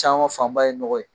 Caman fanba ye n nɔgɔ ye.